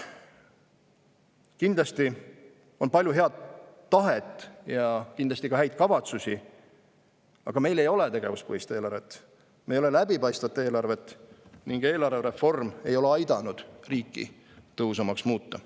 Kindlasti on palju head tahet ja kindlasti ka häid kavatsusi, aga meil ei ole tegevuspõhist eelarvet, meil ei ole läbipaistvat eelarvet ning eelarvereform ei ole aidanud riiki tõhusamaks muuta.